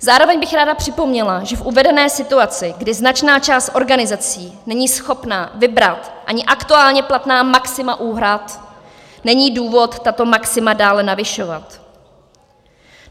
Zároveň bych ráda připomněla, že v uvedené situaci, kdy značná část organizací není schopna vybrat ani aktuálně platná maxima úhrad, není důvod tato maxima dále navyšovat.